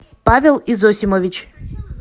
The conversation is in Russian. павел изосимович